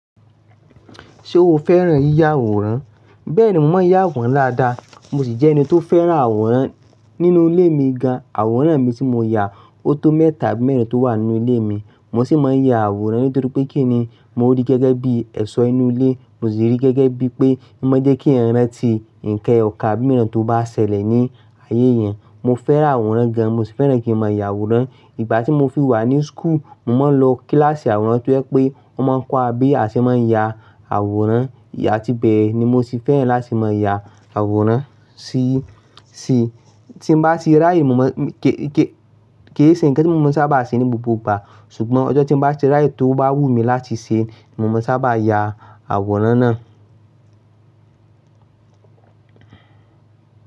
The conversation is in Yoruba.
Ṣé o fẹ́ràn yíya àwòrán? Bẹ́ẹ̀ni, mo máa ń ya wòn láda. Mo sì jẹ́ ẹni tó fẹ́ràn àwòrán nínú lé mi gan. Àwòrán mi tí mo ya óto mẹ́ta, abi mẹ́rìn tó wà nínú ilé mi. Mo sì máa ń ya àwòrán nítorí pé kí ni? Mo rí gẹ́gẹ́ bí ẹ̀ṣọ́ inú ilé, mo sì rí gẹ́gẹ́ bí pé má jẹ́ kí ranti, nǹkan ọkà mìíràn tó bá ṣẹlẹ̀ ní ayé yẹn. Mo fẹ́ràn àwòrán gan-an, mo sì fẹ́ràn kí mo máa ya àwòrán. Ìgbà tí mo fi wà ní school, mo máa ń lọ kíláàsì àwòn tó yẹ pé wọ́n máa ń kọ́ wa bí a ṣe máa ń ya àwòrán. Ya ti bẹ́ẹ̀ ni mo sì fẹ́ràn láti máa ya àwòrán. Ya ti bẹ́ẹ̀ ni mo sì fẹ́ràn láti máa ya àwòrán. Sugbon ojo ti n bá ti ráyè, to ba wun mi lati se ni mo maa sa ba ya aworan naa.